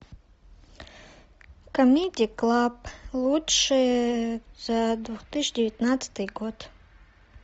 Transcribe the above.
камеди клаб лучшее за две тысячи девятнадцатый год